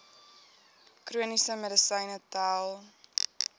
chroniese medisyne tel